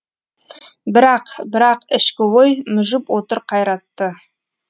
бірақ бірақ ішкі ой мүжіп отыр қайратты